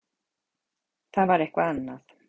Það var eitthvað annað.